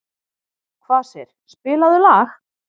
Kvasir, spilaðu lag.